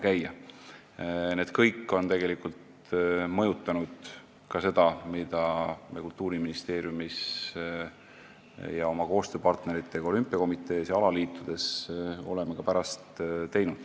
Kõik need siin käigud on tegelikult mõjutanud ka seda, mida me oleme pärast teinud Kultuuriministeeriumis ja oma koostööpartneritega olümpiakomitees ja alaliitudes.